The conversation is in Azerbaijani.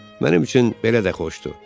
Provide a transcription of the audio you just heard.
"Mənim üçün belə də xoşdur."